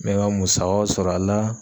N bɛ n ka musakaw sɔrɔ a la